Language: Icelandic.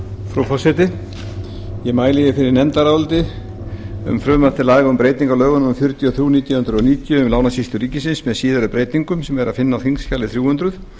frú forseti ég mæli hér fyrir nefndaráliti um frumvarp til laga um breytingu á lögum númer fjörutíu og þrjú nítján hundruð níutíu um lánasýslu ríkisins með síðari breytingum sem er að finna á þingskjali þrjú hundruð